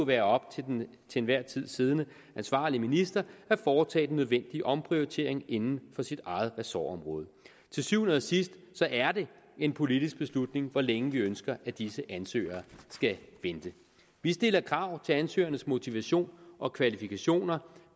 være op til den enhver tid siddende ansvarlige minister at foretage den nødvendige omprioritering inden for sit eget ressortområde til syvende og sidst er det en politisk beslutning hvor længe vi ønsker at disse ansøgere skal vente vi stiller krav til ansøgernes motivation og kvalifikationer